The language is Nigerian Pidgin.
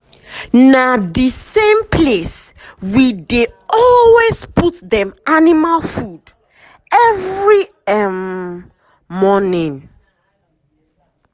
na the same place we dey um always put dem animal food every um morning.